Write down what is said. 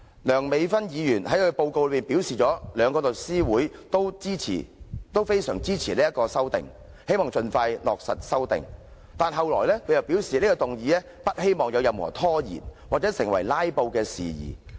梁美芬議員作出報告時表示，兩大律師組織都非常支持《2017年實習律師規則》，希望能盡快落實，但接着她卻表示不希望有任何拖延或成為"拉布"事件。